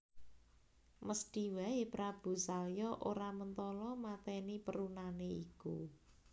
Mesthi wae Prabu Salya ora mentala mateni perunane iku